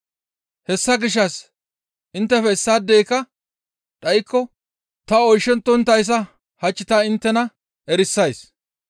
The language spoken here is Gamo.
Hessa gishshas inttefe issaadeyka dhaykko ta oyshettonttayssa hach ta inttena erisays.